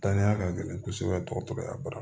Danniya ka gɛlɛn kosɛbɛ dɔgɔtɔrɔya baara